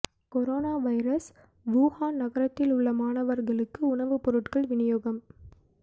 corona virus Wuhan நகரத்தில் உள்ள மாணவர்களுக்கு உணவுப் பொருட்கள் விநியோகம்